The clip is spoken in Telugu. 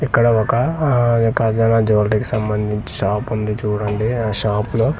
ఇక్కడ ఒక ఆ ఖజాన జివేలరీస్ కీ సంబందించి షాప్ ఉంది చూడండి ఆ షాప్ లో.